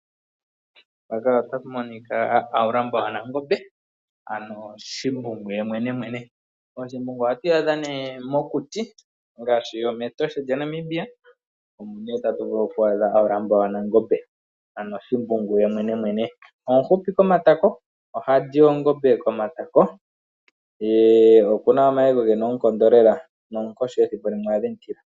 Haulamba wanangombe oha adhika mokuti ngaashi mEtosha. Omufupi konima ye ohali oongombe komishila nokuna omayego gena oonkondo lela noha tilika kiinamwenyo yimwe ngaashi oonkoshi.